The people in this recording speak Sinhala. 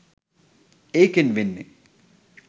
ඒකෙන් වෙන්නේ